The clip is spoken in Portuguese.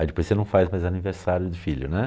Aí depois você não faz mais aniversário de filho, né?